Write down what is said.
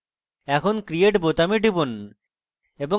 এখন create বোতামে টিপুন